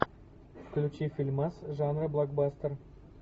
включи фильмас жанра блокбастер